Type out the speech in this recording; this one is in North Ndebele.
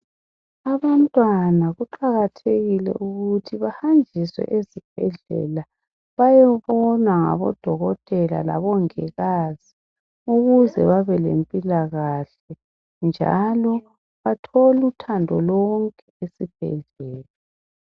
Abantwana kuqakathekile ukuthi bahanjiswe ezibhedlela bayebonwa ngabodokotela labongikazi ukuze babe lempilakahle njalo bathole uthando lonke esibhedlela